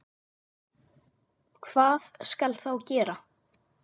Hvað skal þá gera?